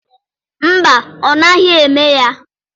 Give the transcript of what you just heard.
Mba, ọ naghị eme ya.